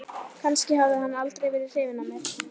Kannski hafði hann aldrei verið hrifinn af mér.